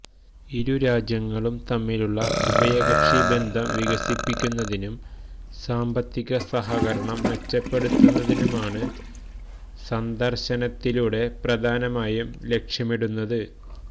ഇരു രാജ്യങ്ങളും തമ്മിലുള്ള ഉഭയകക്ഷി ബന്ധം വികസിപ്പിക്കുന്നതിനും സാമ്പത്തിക സഹകരണം മെച്ചപ്പെടുത്തുന്നതിനുമാണ് സന്ദർശനത്തിലൂടെ പ്രധാനമായും ലക്ഷ്യമിടുന്നത്